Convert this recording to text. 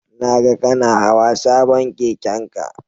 Na ga kana hawa sabon keken ka